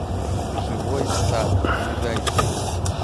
живой сад ближайший